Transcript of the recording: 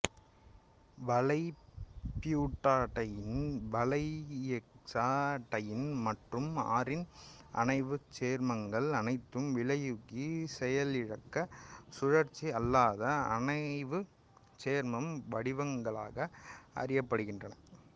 வளையபியூட்டாடையீன் வளையயெக்சாடையீன் மற்றும் அரீன் அணைவுச் சேர்மங்கள் அனைத்தும் வினையூக்கி செயலிழக்க சுழற்சி அல்லாத அணைவுச் சேர்ம வடிவங்களாக அறியப்படுகின்றன